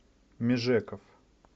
межеков